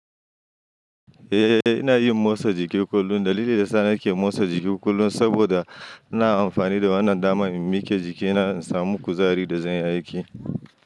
Eh, ina yin motsa jiki kullum. Dalili da sa ni nake motsa jiki kullum saboda ina amfani da wannan damar in miki jikina in samu kuzari da zan yi aiki.